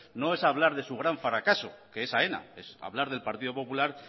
no es hablar de su gran fracaso que es aena es hablar del partido popular